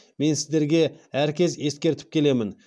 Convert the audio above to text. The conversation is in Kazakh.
мен сіздерге әркез ескертіп келемін